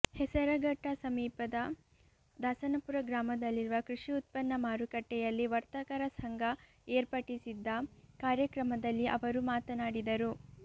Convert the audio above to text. ಹೆಸರಘಟ್ಟ ಸಮೀಪದ ದಾಸನಪುರ ಗ್ರಾಮದಲ್ಲಿರುವ ಕೃಷಿ ಉತ್ಪತ್ನ ಮಾರುಕಟ್ಟೆಯಲ್ಲಿ ವರ್ತಕರ ಸಂಘ ಏರ್ಪಡಿಸಿದ್ದ ಕಾರ್ಯಕ್ರಮದಲ್ಲಿ ಅವರು ಮಾತನಾಡಿದರು